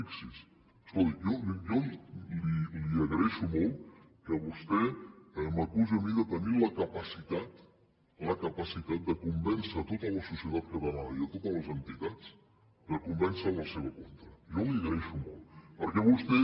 fixi’s escolti jo li agraeixo molt que vostè m’acusi a mi de tenir la capacitat la capacitat de convèncer tota la societat catalana i totes les entitats de convèncerles en la seva contra jo li ho agraeixo molt perquè vostè